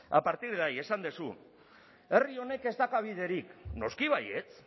a partir de ahí esan duzu herri honek ez dauka biderik noski baietz